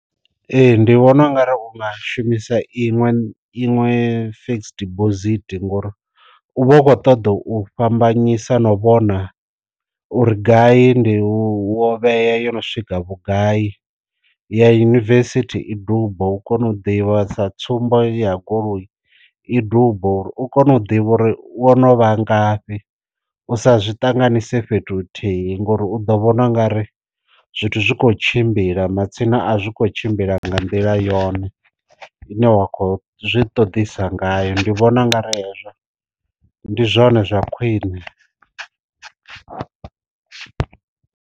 Ee ndi vhona u nga ri u nga shumisa iṅwe iṅwe fekisi dibosithi ngori u vha u kho ṱoḓa u fhambanyisa no vhona uri gai ndi wo vhea yo no swika vhugai ya univesithi i dubo u kone u ḓivha sa tsumbo ya goloi i dubo uri u kone u ḓivha uri wo no vha ngafhi, u sa zwi ṱanganise fhethu huthihi ngori u ḓo vhona ungari zwithu zwi kho tshimbila matsina a zwi kho tshimbila nga nḓila yone ine wa khou zwi ṱoḓisa ngayo, ndi vhona ngari yazwo ndi zwone zwa khwine.